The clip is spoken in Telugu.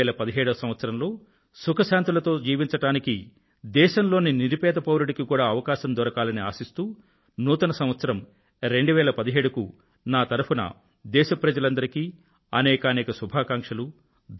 2017వ సంవత్సరం లో సుఖశాంతులతో జీవించడానికి దేశంలోని నిరుపేద పౌరుడికి కూడా అవకాశం దొరకాలని ఆశిస్తూ నూతన సంవత్సరం 2017 కు నా తరఫున దేశ ప్రజలందరికీ అనేకానేక శుభాకాంక్షలు